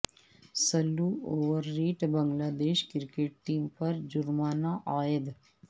سلو over rate Bangladesh cricket team پر جرمانہ عائد